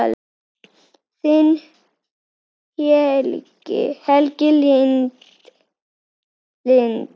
Þín, Helga Lind.